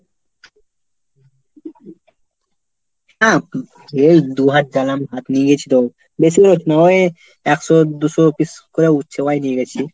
হ্যাঁ এই দুহাত দালাম ভাত নিয়ে গেছিল, বেশি নয় ওই একশো দুশো piece করে উঠছে ভাই নিয়ে গেছি।